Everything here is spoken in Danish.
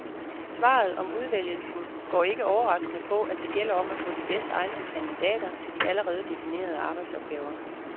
Svaret om udvælgelsen går ikke overraskende på, at det gælder om at få de bedst egnede kandidater til de allerede definerede arbejdsopgaver.